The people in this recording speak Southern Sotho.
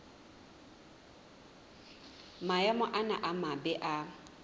maemo ana a mabe a